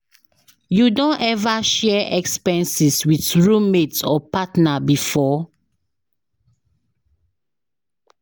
You don ever share expenses with roommate or partner before?